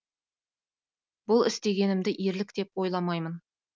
бұл істегенімді ерлік деп ойламаймын